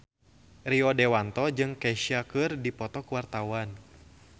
Rio Dewanto jeung Kesha keur dipoto ku wartawan